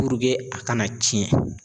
a kana cɛn